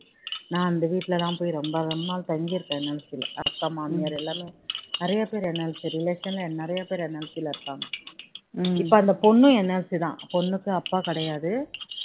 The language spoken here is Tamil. நான் அந்த வீட்டுலலாம் போய் ரொம்ப நாள் தங்கி இருக்கேன் சின்ன வயசுல அக்கா மாமியார் எல்லாமே நிறைய பேரு NLC relation னே நிறைய பேரு NLC ல இருக்காங்க இப்போ அந்த பொண்ணும் NLC தான் பொண்ணுக்கு அப்பா கிடையாது